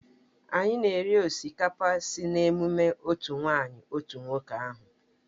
Anyị na-eri osikapa sị na emume otu nwanyị otu nwoke ahụ.